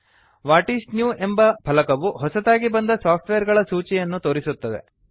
what's new ಎಂಬ ಫಲಕವು ಹೊಸತಾಗಿ ಬಂದ ಸಾಫ್ಟ್ವೇರ್ ಗಳ ಸೂಚಿಯನ್ನು ತೋರಿಸುತ್ತದೆ